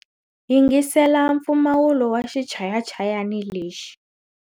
Yingisela mpfumawulo wa xichayachayani lexi.